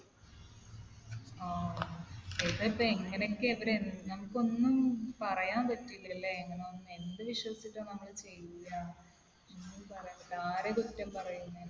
ങ്ഹാ. ഇത് ഇപ്പൊ എങ്ങനെയൊക്കെയാ ഇവിടെ നമുക്കൊന്നും പറയാൻ പറ്റൂലാലേ. എങ്ങനെ എന്ത് വിശ്വസിച്ചിട്ടാണ് നമ്മൾ ചെയ്യാ? ഒന്നും പറയാൻ പറ്റില്ല. ആരെയും കുറ്റം പറയും?